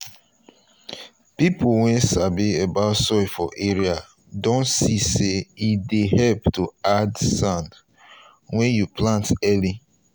people wey sabi about soil for area don see say e dey help to add sand when you plant early.